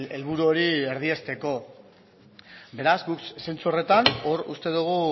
helburu hori erdiesteko beraz guk zentzu horretan hor uste dugu